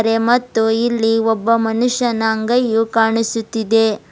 ಮತ್ತು ಇಲ್ಲಿ ಒಬ್ಬ ಮನುಷ್ಯನ ಅಂಗೈಯು ಕಾಣಿಸುತ್ತಿದೆ.